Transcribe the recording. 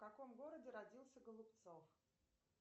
в каком городе родился голубцов